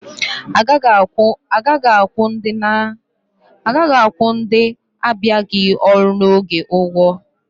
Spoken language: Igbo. Agaghị akwụ ndị abịaghị ọrụ n'oge ụgwọ